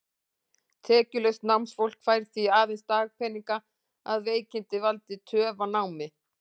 Tekjulaust námsfólk fær því aðeins dagpeninga, að veikindin valdi töf á námi.